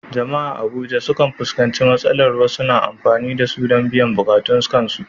Jama’a a Abuja sukan fuskanci matsalar wasu na amfani da su don biyan buƙatun kansu